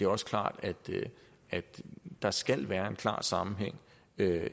også klart at der skal være en klar sammenhæng